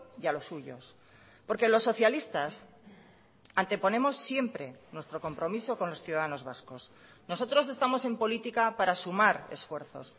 y a los suyos porque los socialistas anteponemos siempre nuestro compromiso con los ciudadanos vascos nosotros estamos en política para sumar esfuerzos